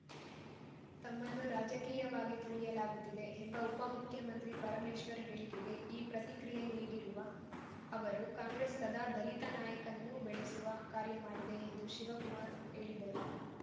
ತಮ್ಮನ್ನು ರಾಜಕೀಯವಾಗಿ ತುಳಿಯಲಾಗುತ್ತಿದೆ ಎಂಬ ಉಪ ಮುಖ್ಯಮಂತ್ರಿ ಪರಮೇಶ್ವರ್‌ ಹೇಳಿಕೆಗೆ ಈ ಪ್ರತಿಕ್ರಿಯೆ ನೀಡಿರುವ ಅವರು ಕಾಂಗ್ರೆಸ್‌ ಸದಾ ದಲಿತ ನಾಯಕನ್ನು ಬೆಳೆಸುವ ಕಾರ್ಯ ಮಾಡಿದೆ ಎಂದು ಶಿವಕುಮಾರ್‌ ಹೇಳಿದರು